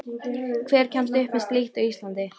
Hver kemst upp með slíkt á Íslandi?